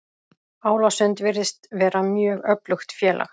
Álasund virðist vera mjög öflugt félag.